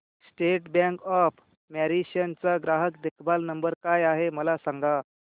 state bank of Mauritius चा ग्राहक देखभाल नंबर काय आहे मला सांगा